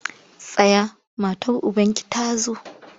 Tsaya matar ubanki ta zo!